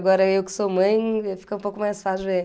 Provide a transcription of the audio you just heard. Agora eu que sou mãe, fica um pouco mais fácil de ver.